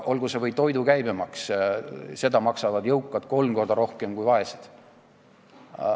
Olgu see või toidu käibemaks, mida jõukad maksavad kolm korda rohkem kui vaesed.